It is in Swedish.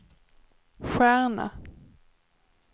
stjärna